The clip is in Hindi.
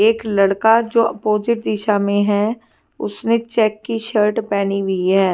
एक लड़का जो अपोजिट दिशा मे है उसने चेक की शर्ट पेहनी हुई है।